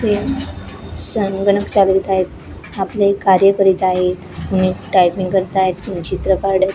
हे संगणक चालवत आहेत आपले कार्य करीत आहेत कुणी टायपिंग करत आहे कुणी चित्र काढत--